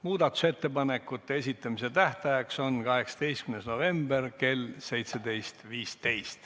Muudatusettepanekute esitamise tähtaeg on 18. november kell 17.15.